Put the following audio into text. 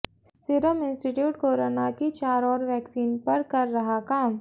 serum institute corona की चार और वैक्सीन पर कर रहा काम